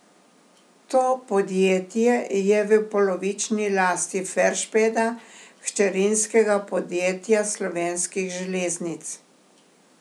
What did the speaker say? To podjetje je v polovični lasti Ferspeda, hčerinskega podjetja Slovenskih železnic.